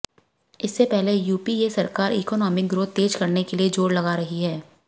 इससे पहले यूपीए सरकार इकनॉमिक ग्रोथ तेज करने के लिए जोर लगा रही है